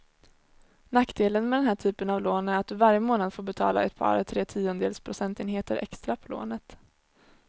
Nackdelen med den här typen av lån är att du varje månad får betala ett par, tre tiondels procentenheter extra på lånet.